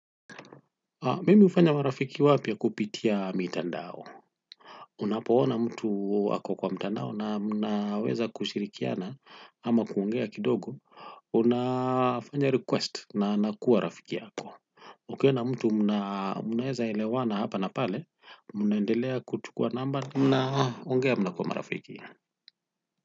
Mimi hufanya marafiki wapya kupitia mitandao. Unapoona mtu wako kwenye mitandao na mnaweza kushirikiana ama kuongea kidogo. Unafanya request na anakuwa rafiki yako. Ukiona mtu mnaweza elewana hapa na pale, unaendelea kuchukua number na mnakuwa marafiki.